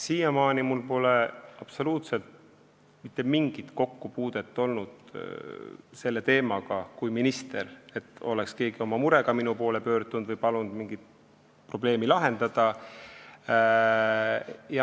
Siiamaani pole minul kui ministril olnud absoluutselt mitte mingit kokkupuudet selle teemaga, keegi ei ole oma murega minu poole pöördunud ega palunud mingit probleemi lahendada.